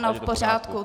Ano, v pořádku.